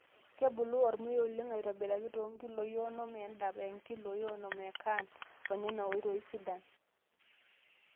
Kebulu ormuya oleng aitobiraki too nkiloi onom e dap o nkiloi onom e caan onena oitoi sidan.